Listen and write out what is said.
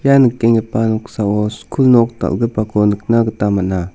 ia nikenggipa noksao skul nok dal·gipako nikna gita man·a.